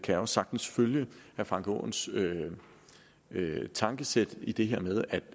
jeg sagtens følge herre frank aaens tankesæt i det her med